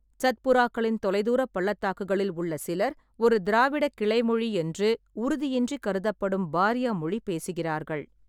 சத்புராக்களின் தொலைதூர பள்ளத்தாக்குகளில் உள்ள சிலர் ஒரு திராவிடக் கிளைமொழி என்று உறுதியின்றி கருதப்படும் பாரியா மொழி பேசுகிறார்கள்.